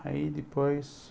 Aí depois...